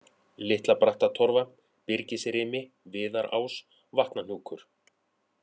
Litla-Brattatorfa, Byrgisrimi, Viðarás, Vatnahnúkur